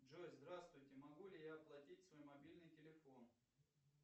джой здравствуйте могу ли я оплатить свой мобильный телефон